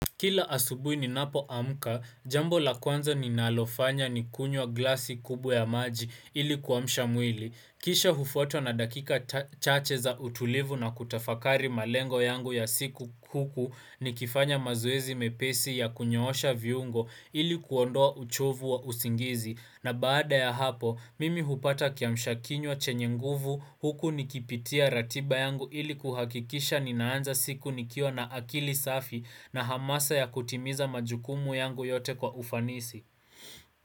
Kila asubuhi ni napo amka, jambo la kwanza ni nalofanya ni kunywa glasi kubwa ya maji ili kuamsha mwili. Kisha hufuatwa na dakika chache za utulivu na kutafakari malengo yangu ya siku huku ni kifanya mazoezi mepesi ya kunyoosha viungo ili kuondoa uchovu wa usingizi. Na baada ya hapo, mimi hupata kiamsha kinywa chenye nguvu huku nikipitia ratiba yangu ili kuhakikisha ninaanza siku nikiwa na akili safi na hamasa ya kutimiza majukumu yangu yote kwa ufanisi.